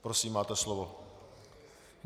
Prosím, máte slovo.